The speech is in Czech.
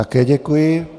Také děkuji.